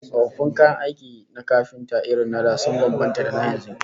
Tsofaffin kayan aikin kafinta irin na da sun bambanta da na yanzu